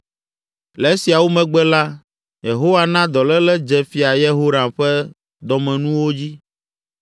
Le esiawo megbe la, Yehowa na dɔléle dze Fia Yehoram ƒe dɔmenuwo dzi.